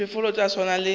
diphoofolo tša go swana le